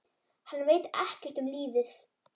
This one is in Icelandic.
Hann veit ekkert um lífið.